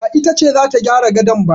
Ba ita ce za ta gyara gadon ba